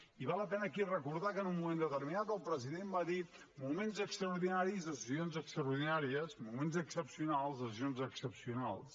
i val la pena aquí recordar que en un moment determinat el president va dir mo ments extraordinaris decisions extraordinàries mo ments excepcionals decisions excepcionals